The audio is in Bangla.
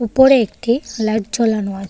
উপরে একটি লাইট জ্বালানো আছে।